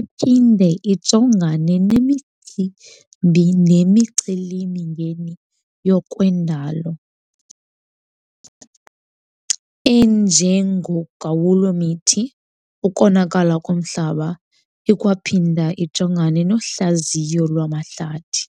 iphinde ijongane nemicimbi nemiceli mingeni ngokwendalo enjengogawulo mithi, ukonakala komhlaba . ikwaphinda ijongana nohlaziyo lwamahlathi.